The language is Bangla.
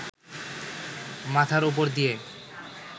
মাথার ওপর দিয়ে